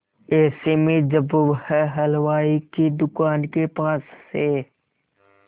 ऐसे में जब वह हलवाई की दुकान के पास से